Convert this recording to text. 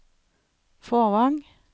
Fåvang